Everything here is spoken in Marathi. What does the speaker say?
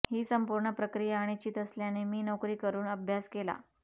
ही संपूर्ण प्रक्रिया अनिश्चित असल्याने मी नोकरी करून अभ्यास केला